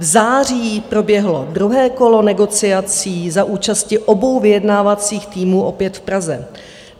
V září proběhlo druhé kolo negociací za účasti obou vyjednávacích týmů opět v Praze.